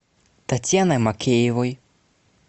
татьяной макеевой